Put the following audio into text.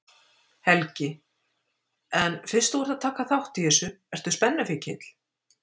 Helgi: En fyrst þú ert að taka þátt í þessu, ertu spennufíkill?